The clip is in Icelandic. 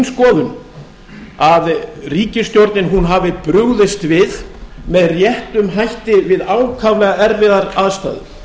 skoðun að ríkisstjórnin hafi brugðist við með réttum hætti við ákaflega erfiðar aðstæður